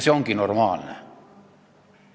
See ongi normaalne.